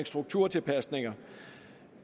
strukturtilpasninger